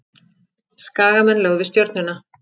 Skagamenn lögðu Stjörnuna